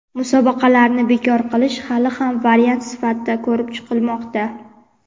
Musobaqalarni bekor qilish hali ham variant sifatida ko‘rib chiqilmoqda.